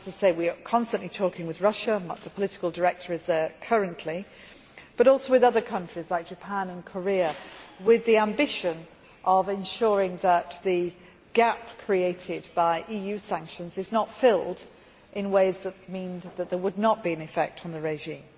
We are constantly talking with Russia the political director is there currently as well as with other countries like Japan and Korea, with the ambition of ensuring that the gap created by EU sanctions is not filled in ways that mean that there would not be an effect on the regime.